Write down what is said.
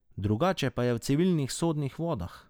Drugače pa je v civilnih sodnih vodah.